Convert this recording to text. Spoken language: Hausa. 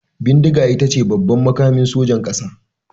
Bindiga ita ce babban makamin sojan kasa.